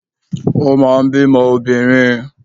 Ó máa ń bímọ obìnrin